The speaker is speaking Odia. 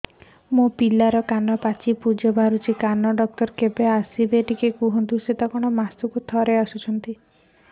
ମୋ ପିଲାର କାନ ପାଚି ପୂଜ ବାହାରୁଚି କାନ ଡକ୍ଟର କେବେ ଆସିବେ